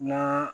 Na